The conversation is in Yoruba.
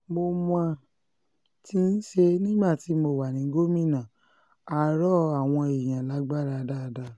mo mo ti ṣe é nígbà tí mo wà ní gómìnà á rọ àwọn èèyàn lágbára dáadáa